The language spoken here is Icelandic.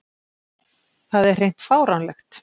Það er hreint fáránlegt